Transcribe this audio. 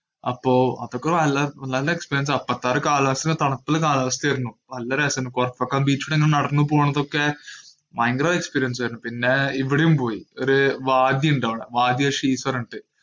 അപ്പൊ അത്രയ്ക്ക് നല്ല നല് experience ആ. കാലാവസ്ഥതണുപ്പുള്ള കാലാവസ്ഥ ആയിരുന്നു. നല്ല രസമുണ്ട്. കൊറച്ചൊക്കെ ബീച്ചിലങ്ങനെ നടന്നു പോകുന്നതൊക്കെ ഭയങ്കര experience ആയിരുന്നു. പിന്നെ ഇവിടേം പോയി. ഒരു വാജി ഉണ്ടവിടെ ഉണ്ട്.